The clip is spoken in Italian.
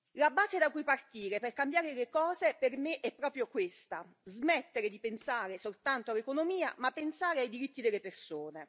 La base da cui partire per cambiare le cose per me è proprio questa smettere di pensare soltanto all'economia, ma pensare ai diritti delle persone.